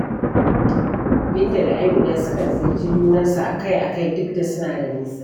Binta da Amina sukan ziyarci junansu a-kai-a-kai duk da suna da nisa.